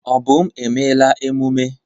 Obum, emela emume!